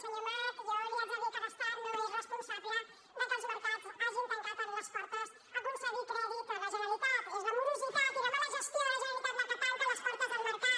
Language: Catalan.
senyor amat jo li haig de dir que l’estat no és responsable que els mercats hagin tancat les portes a concedir crèdit a la generalitat és la morositat i la mala gestió de la generalitat la que tanca les portes del mercat